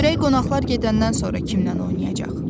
Görək qonaqlar gedəndən sonra kimlə oynayacaq?